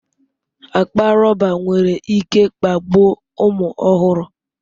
Akpa rọba nwere ike kpagbuo ụmụ ọhụrụ.